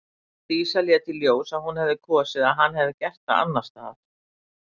Dísa lét í ljós að hún hefði kosið að hann hefði gert það annars staðar.